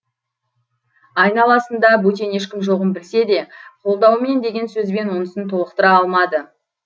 айналасында бөтен ешкім жоғын білсе де қолдауымен деген сөзбен онысын толықтыра алмады